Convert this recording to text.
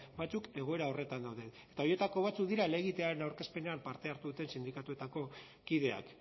egoera horretan daude eta horietako batzuk dira helegitearen aurkezpenean parte hartu duten sindikatuetako kideak